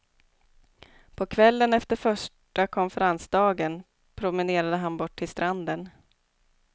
På kvällen efter första konferensdagen promenerade han bort till stranden.